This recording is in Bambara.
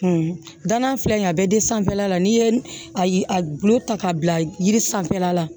danna filɛ nin ye a bɛ den sanfɛla la n'i ye a gulo ta k'a bila yiri sanfɛla la